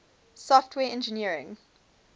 software engineering